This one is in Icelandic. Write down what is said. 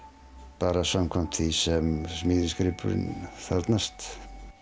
bara samkvæmt því sem smíðisgripurinn þarfnast